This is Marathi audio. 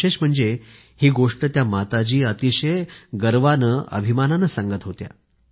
विशेष म्हणजे ही गोष्ट त्या माताजी अतिशय अभिमानानं सांगत होत्या